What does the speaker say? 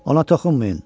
Ona toxunmayın.